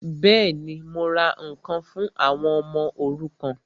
Bẹ́ẹ̀ni, mo ra ǹkan fún àwọn ọmọ òrukàn